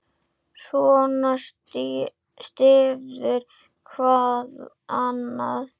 Svona styður hvað annað.